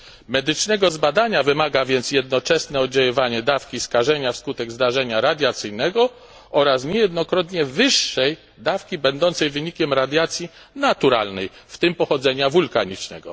Medycznego zbadania wymaga więc jednoczesne oddziaływanie dawki skażenia wskutek zdarzenia radiacyjnego oraz niejednokrotnie wyższej dawki będącej wynikiem radiacji naturalnej, w tym pochodzenia wulkanicznego.